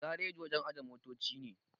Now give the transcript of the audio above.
Gareji wajen ajiye motoci ne